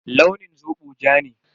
Launin zobo ja ne.